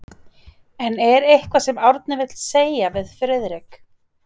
En er eitthvað sem Árni vill segja við Friðrik?